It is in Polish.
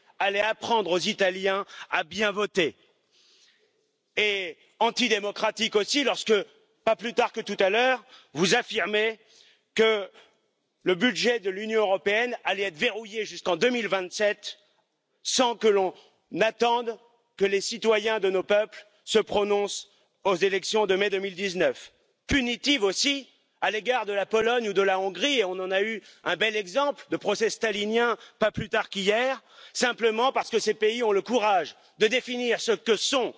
temu, ja jestem zwolennikiem tego, by Europa wzięła większą niż dotychczas odpowiedzialność za politykę obronną. Przyglądam się temu procesowi bardzo pozytywnie. Europa powinna dzielić ze Stanami Zjednoczonymi odpowiedzialność za tę sferę. Ale potrzebna jest praktyczna solidarność, potrzebne jest to, by towarzyszyło temu poczucie, że Europejczycy, że Unia Europejska będzie tak